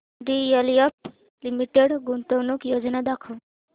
DLF limited गुंतवणूक योजना दाखव